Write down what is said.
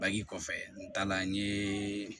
Bagji kɔfɛ n taala n ye